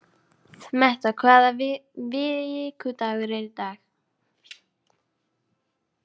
Metta, hvaða vikudagur er í dag?